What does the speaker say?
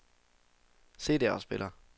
CD-afspiller